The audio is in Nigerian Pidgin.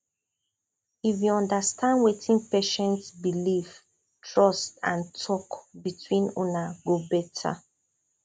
if you understand wetin patient believe trust and talk between una go better